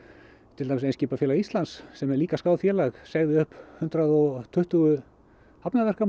til dæmis Eimskipafélag Íslands sem er líka skráð félag segði upp hundrað og tuttugu